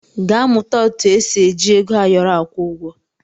Gaa mụta etu esi eji ego ayọrọ akwụ ụgwọ!